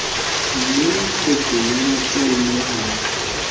le meqoqong ya botswalle ha